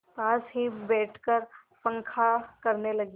पास ही बैठकर पंखा करने लगी